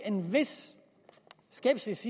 en vis skepsis